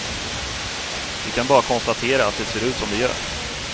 Vi kan bara konstatera att det ser ut som det gör.